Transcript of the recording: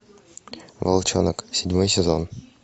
волчонок седьмой сезон